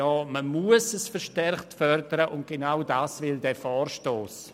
Ja, man muss es verstärkt fördern, und genau das will dieser Vorstoss.